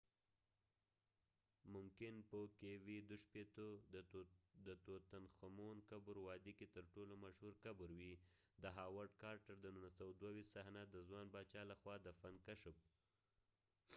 د توتنخمون قبر kv62۔ kv62 ممکن په وادی کې ترټولو مشهور مقبرې وي، د هاورډ کارټر د 1922 صحنه د ځوان باچا لخوا دفن کشف۔